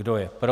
Kdo je pro?